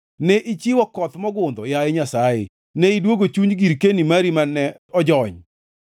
Ne ichiwo koth mogundho, yaye Nyasaye; ne idwogo chuny girkeni mari mane ojony.